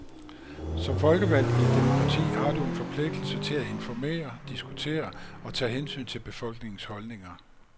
Som folkevalgt i et demokrati har du en forpligtelse til at informere, diskutere og tage hensyn til befolkningens holdninger.